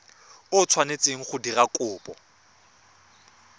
o tshwanetseng go dira kopo